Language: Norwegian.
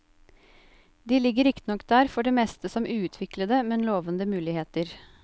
De ligger riktignok der for det meste som uutviklede, men lovende muligheter.